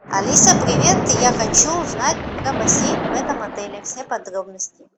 алиса привет я хочу узнать про бассейн в этом отеле все подробности